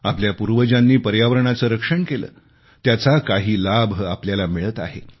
आपल्या पूर्वजांनी पर्यावरणाचे रक्षण केले त्याचा काही लाभ आपल्याला मिळत आहे